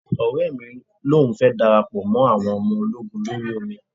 Ọ̀rẹ́ mi lòun fẹ́ darapọ̀ mọ́ awọn ọmọ ológun orí omi